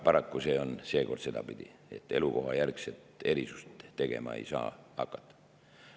Paraku see on seekord sedapidi, et elukohajärgset erisust tegema ei saa hakata.